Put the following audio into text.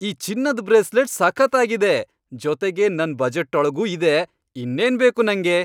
ಈ ಚಿನ್ನದ್ ಬ್ರೇಸ್ಲೆಟ್ ಸಖತ್ತಾಗಿದೆ, ಜೊತೆಗೆ ನನ್ ಬಜೆಟ್ಟೊಳ್ಗೂ ಇದೆ, ಇನ್ನೇನ್ ಬೇಕು ನಂಗೆ!